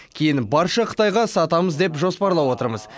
кейін барша қытайға сатамыз деп жоспарлап отырмыз